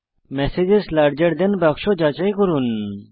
messages larger than বাক্স যাচাই করুন